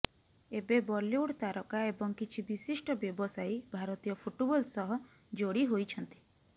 ଏବେ ବଲିଉଡ୍ ତାରକା ଏବଂ କିଛି ବିଶିଷ୍ଠ ବ୍ୟବସାୟୀ ଭାରତୀୟ ଫୁଟ୍ବଲ୍ ସହ ଯୋଡ଼ି ହୋଇଛନ୍ତି